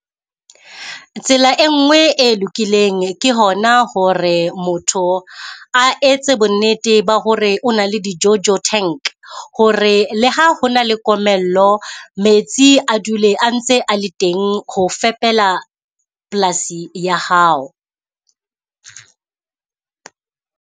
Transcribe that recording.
Tsela e nngwe e lokileng ke hona hore motho a etse bonnete ba hore o na le di jojo tank. Hore le ha ho na le komello, metsi a dule a ntse a le teng ho fepela polasi ya hao.